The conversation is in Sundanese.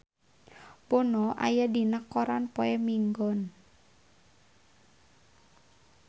Bono aya dina koran poe Minggon